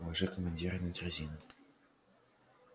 положи командира на дрезину